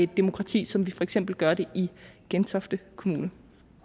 demokrati som vi for eksempel gør det i gentofte kommune